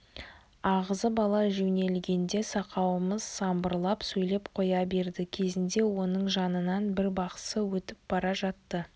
ағызып ала жөнелгенде сақауымыз самбырлап сөйлеп қоя берді кезінде оның жанынан бір бақсы өтіп бара жатады